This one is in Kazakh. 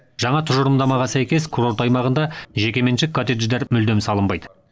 жаңа тұжырымдамаға сәйкес курорт аймағында жекеменшік коттедждер мүлдем салынбайды